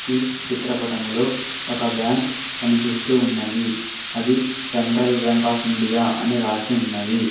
ఈ చిత్రపటంలో ఒక బ్యాంక్ కనిపిస్తూ ఉన్నది అది సెంట్రల్ బ్యాంక్ ఆఫ్ ఇండియా అని రాసి ఉన్నది.